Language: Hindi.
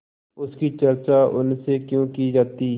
उसकी चर्चा उनसे क्यों की जाती